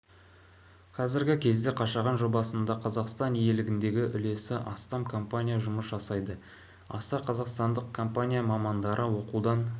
қазіргі кезде қашаған жобасында қазақстан иелігіндегі үлесі астам компания жұмыс жасайды аса қазақстандық компания мамандары оқудан